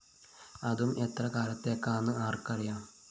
അതും എത്ര കാലത്തേക്കാന്ന് ആര്‍ക്കറിയാം